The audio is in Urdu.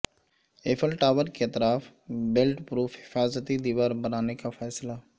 ایفل ٹاور کے اطراف بلٹ پروف حفاظتی دیوار بنانے کا فیصلہ